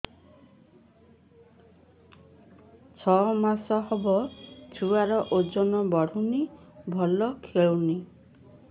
ଛଅ ମାସ ହବ ଛୁଆର ଓଜନ ବଢୁନି ଭଲ ଖେଳୁନି